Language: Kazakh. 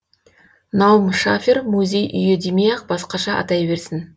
наум шафер мүзей үйі демей ақ басқаша атай берсін